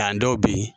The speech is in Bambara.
An dɔw bɛ yen